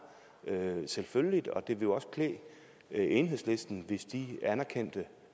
selvfølgeligt og det ville jo også klæde enhedslisten hvis de anerkendte